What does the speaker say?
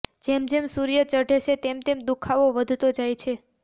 જેમ જેમ સૂર્ય ચઢે છે તેમ તેમ દુઃખાવો વધતો જાય છે